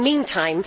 In the meantime